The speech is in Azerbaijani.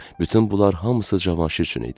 Bütün bunlar hamısı Cavanşir üçün idi.